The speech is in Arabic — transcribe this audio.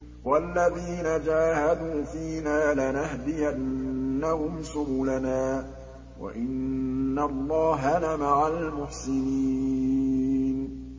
وَالَّذِينَ جَاهَدُوا فِينَا لَنَهْدِيَنَّهُمْ سُبُلَنَا ۚ وَإِنَّ اللَّهَ لَمَعَ الْمُحْسِنِينَ